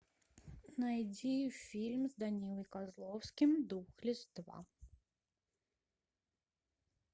найди фильм с данилой козловским духлесс два